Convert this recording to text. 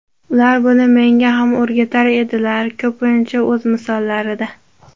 Ular buni menga ham o‘rgatar edilar, ko‘pincha o‘z misollarida.